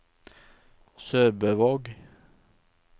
SørbØvåg